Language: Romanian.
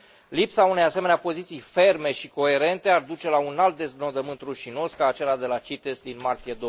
Lipsa unei asemenea poziții ferme și coerente ar duce la un alt deznodământ rușinos, ca acela de la CITES, din martie